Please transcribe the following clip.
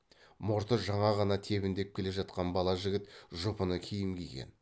мұрты жаңа ғана тебіндеп келе жатқан бала жігіт жұпыны киім киген